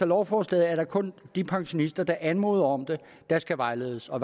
lovforslaget er det kun de pensionister der anmoder om det der skal vejledes og